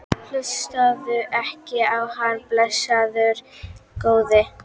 Hlustaðu ekki á hann, blessaður góði.